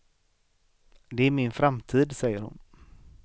Det är min framtid, säger hon.